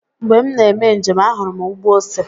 Mgbe m na-eme njem, ahụrụ m ugbo ose.